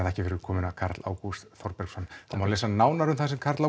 þakkir fyrir komuna Karl Ágúst Þorbergsson það má lesa nánar það sem Karl